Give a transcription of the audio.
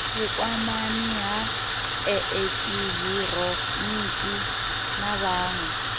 vhukwanani ha eekihironiki na vhawe